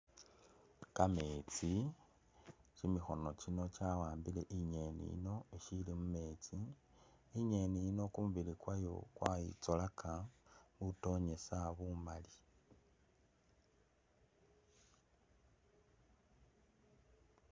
Kametsi kimikhono kino kya'ambile i'ngeni yiino isili mumetsi i'ngeni yiino kumubili kwayo kwayitsolaka mutonyisa bumaali